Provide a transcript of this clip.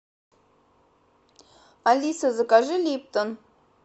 алиса закажи липтон